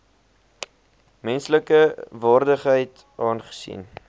menslike waardigheid aangesien